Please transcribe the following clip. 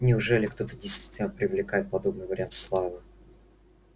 неужели кто-то действительно привлекает подобный вариант славы